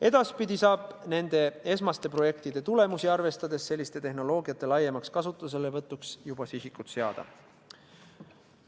Edaspidi saab nende esmaste projektide tulemusi arvestades selliste tehnoloogiate laiemaks kasutuselevõtuks juba sihikut seada.